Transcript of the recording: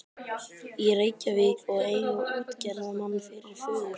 í Reykjavík og eiga útgerðarmann fyrir föður.